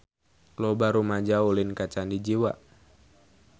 Loba rumaja ulin ka Candi Jiwa